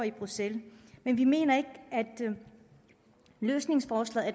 i bruxelles men vi mener ikke at løsningsforslaget